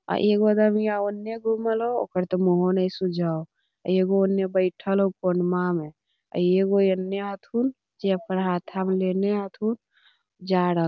और एगो रमिया ओन्ने घुमल होअ ओकर ते मुहो ने सूझे होअ एगो औने बैठएल होअ कोणवा में एगो एन्ने हथून जे ओकरा हाथा में लेने हथून जा रहले।